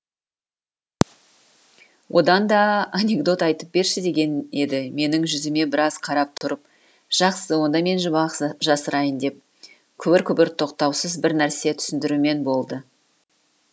одан да анекдот айтып берші деген еді менің жүзіме біраз қарап тұрып жақсы онда мен жұмбақ жасырайын деп күбір күбір тоқтаусыз бірнәрсе түсіндірумен болды